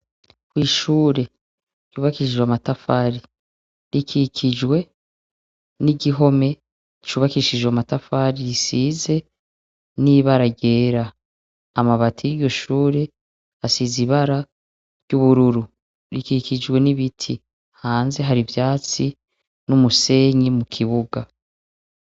Ko ishure cubakishijwe matafari rikikijwe n'igihome cubakishije matafari risize n'ibara rera amabati y'iryushure asize ibara ry'ubururu rikikijwe n'ibiti hanze hari ivyatsi n'umue senyi mu kibuga.